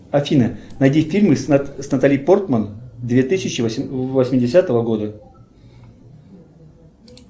афина найди фильмы с натали портман две тысячи восьмидесятого года